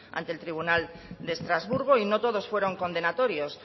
ante el tribunal de estrasburgo y no todos fueron condenatorios